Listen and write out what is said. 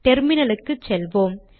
terminal க்கு செல்வோம்